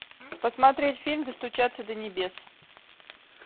посмотреть фильм достучаться до небес